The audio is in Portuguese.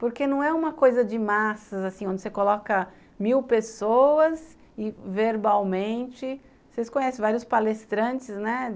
Porque não é uma coisa de massas, assim, onde você coloca mil pessoas e verbalmente... Vocês conhecem vários palestrantes, né?